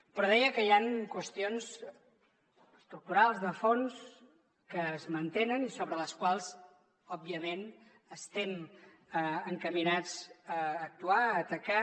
però deia que hi han qüestions estructurals de fons que es mantenen i sobre les quals òbviament estem encaminats a actuar a atacar